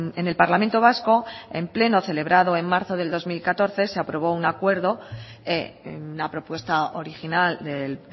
en el parlamento vasco en pleno celebrado en marzo del dos mil catorce se aprobó un acuerdo una propuesta original del